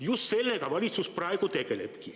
Just sellega valitsus praegu tegeleb.